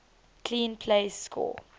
clean plays score